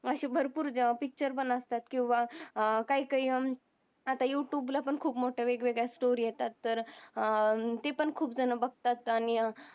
अशी भरपूर पिक्चर पण अस्तात काय काय अत्ता युटूब ला पण खूप मोठ वेग वेगळ स्टोरी येतात तर ते पण खूप जन बगतात आणि